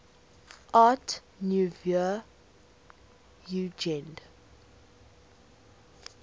art nouveau jugend